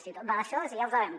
si tot va d’això si ja ho sabem